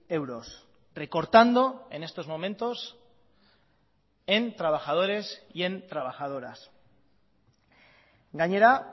euros recortando en estos momentos en trabajadores y en trabajadoras gainera